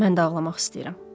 Mən də ağlamaq istəyirəm.